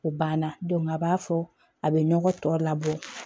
O banna a b'a fɔ a bɛ ɲɔgɔn tɔ labɔ